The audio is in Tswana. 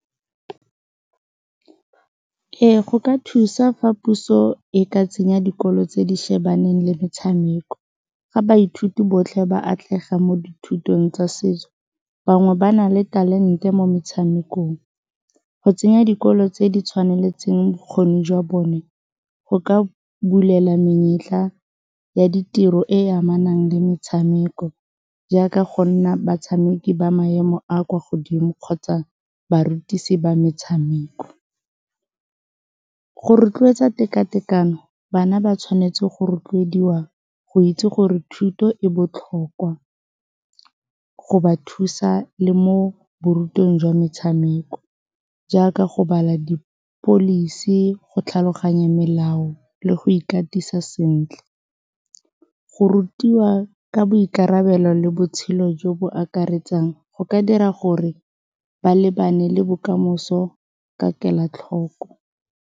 Ee, go ka thusa fa puso e ka tsenya dikolo tse di shebaneng le metshameko, ga baithuti botlhe ba atlega mo dithutong tsa setso. Bangwe ba na le talente mo metshamekong. Go tsenya dikolo tse di tshwaneletseng bokgoni jwa bone, go ka bulela menyetla ya ditiro e e amanang le metshameko, jaaka go nna batshameki ba maemo a a kwa godimo kgotsa barutisi ba metshameko. Go rotloetsa tekatekano bana ba tshwanetse go rotloediwa go itse gore thuto e botlhokwa go ba thusa le mo borutweng jwa metshameko, jaaka go bala di-policy, go tlhaloganya melao le go ikatisa sentle. Go rutiwa ka boikarabelo le botshelo jo bo akaretsang, go ka dira gore ba lebane le bokamoso ka kelotlhoko.